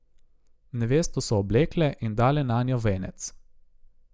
Nevesto so oblekle in dale nanjo venec.